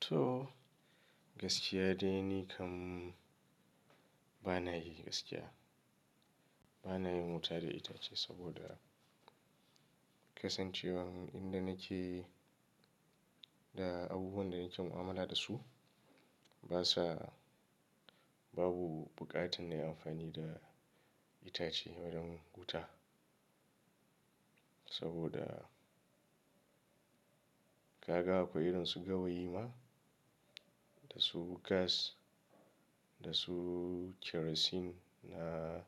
Toh, gaskiya dai ni kam, bana yi gaskiya. Bana yin wuta da itace, saboda kasancewar inda nake, da abubuwan da nake mu'amala da su, basa, babu buƙatar nayi amfani da itace wurin wuta. Saboda, kaga akwai irin su gawayi ma, da su gas, da su kerosene, na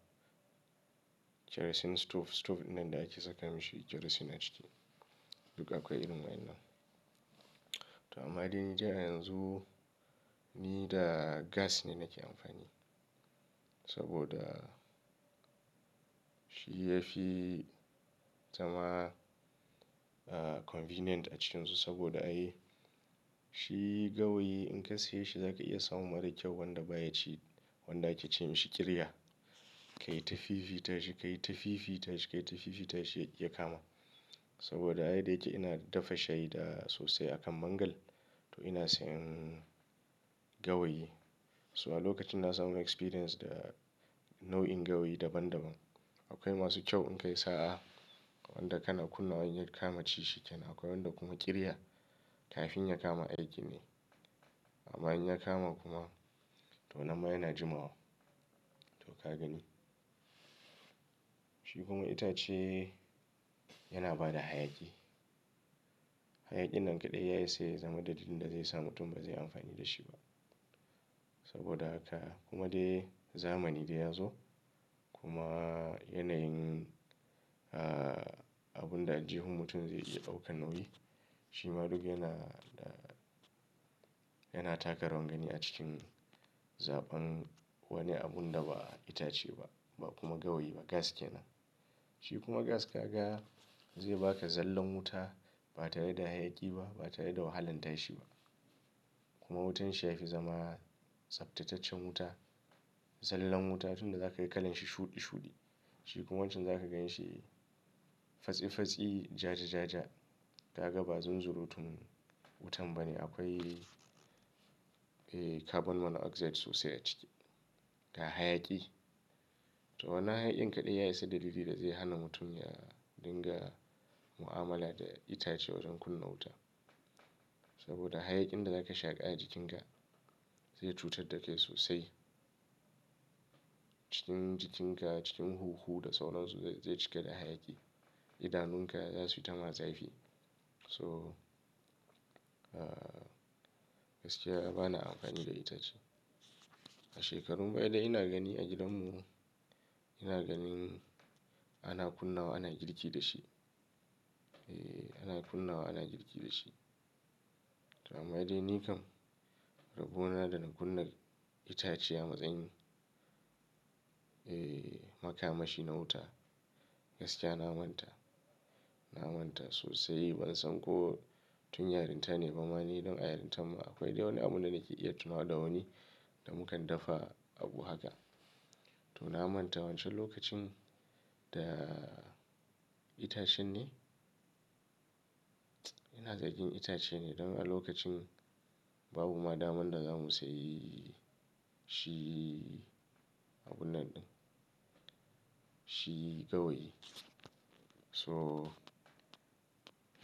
kerosene stove, stove ɗinnan da ake saka mishi kerosene a ciki. Duk akwai irin waɗannan. To amma dai ni dai a yanzu ni da gas ne nake amfani saboda, shi ya fi zama, ah, convenient a cikinsu saboda ai, shi gawayi in ka siye shi zaka iya samun mara kyau wanda baya ci, wanda ake ce mishi ƙirya. Ka yi ta fifita shi, ka yi ta fifita shi, ka yi ta fifita shi ya ƙi ya kama. Saboda a yadda yake ina dafa shayi da, sosai akan mangal, to ina sayan gawayi. So a lokacin na samu experience da nau'in gawayi daban daban. Akwai masu kyau in ka yi sa'a, wanda kana kunna wa in ya kama ci shi kenan. Akwai wanda kuma ƙirya, kafin ya kama aikin ne. Amma in ya kama kuma to nan ma yana jimawa. To ka gani. Shi kuma itace, yana bada hayaƙi. Hayaƙin nan kaɗai ya isa ya zama dalilin da zai sa mutum ba zai yi amfani da shi ba. Saboda haka, kuma dai zamani dai ya zo kuma yanayin, ah, abun da aljihun mutum zai iya ɗaukan nauyi, shima duk yana da, yana taka rawar gani a cikin zaɓan wani abun da ba itace ba, ba kuma gawayi ba, gas kenan. Shi kuma gas ka ga zai ba ka zallan wuta, ba tare da hayaki ba, ba tare da wahalan tashi ba. Kuma wutan shi ya fi zama tsaftataccen wuta. Zallan wuta tunda za ka ga kalan shi shuɗi shuɗi, Shi kuma wancan za ka gan shi fatsi-fatsi, ja ja ja ja. Ka ga ba zunzurutun wutan ba ne. Akwai, eh, carbon monoxide sosai a ciki, ga hayaƙi. To wannan hayaƙin kaɗai ya isa dalili da zai hana mutum ya dinga mu'amala da itace wajen kunna wuta. Saboda hayakin da zaka shaƙa a jikin ka, zai cutar da kai sosai. Cikin jikin ka, cikin hunhu da sauransu zai cika da hayaƙi. Idanun ka za su yi ta ma zafi. So, ah, gaskiya bana amfani da itace. A shekarun baya dai ina gani a gidan mu, ina ganin ana kunna wa, ana girki da shi. Eh ana kunna wa, ana girki da shi. To amma dai ni kam, rabona da na kunna itace a matsayin, eh, makamashi na wuta, gaskiya na manta. Na manta sosai ban san ko tun yarinta ne ba. Amma ni don a yarintan ma akwai dai wani abun da nake iya tunawa da wani da mukan daffa abu haka. To na manta wancan lokacin da itacen ne. Ina sakin itace ne don a lokacin babu ma daman da za mu sayi shi abun nan. Shi gawayi. So,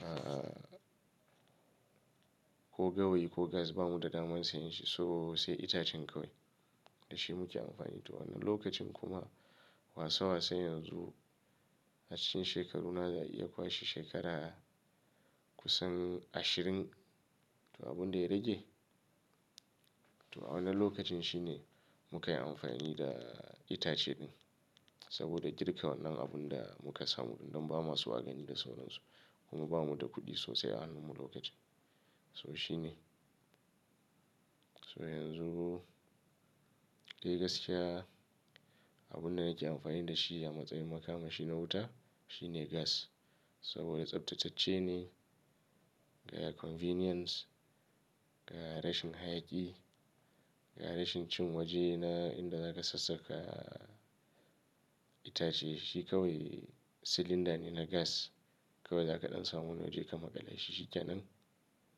ah, ko gawayi ko gas bamu da daman sayan shi so sai itacen kawai da shi muke amfani. To wannan lokacin kuma, wasa-wasa yanzu a cikin shekaru na za'a iya kwashe shekara kusan ashirin. To abun da ya rage, to a wannan lokacin shi ne muka yi amfani da itace ɗin. Saboda girka wannan abun da muka samu don ba maso agani da sauransu, kuma bamu da kuɗi sosai a hannun mu lokacin. So shi ne. So yanzu dai gaskiya abun da nake amfani da shi a matsayin makamashi na wuta shi ne gas. Saboda tsaftatacce ne, ga convenience, ga rashin hayaƙi, ga rashin cin waje na inda za ka sassaka itace. Shi kawai silinda ne na gas, kawai za ka ɗan samu wani waje ka maƙale shi shi kenan.